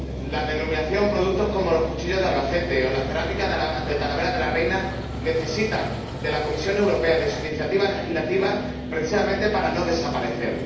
La denominación de productos como los cuchillos de Albacete o la cerámica de Talavera de la Reina necesita de la Comisión Europea, de su iniciativa legislativa, precisamente para no desaparecer.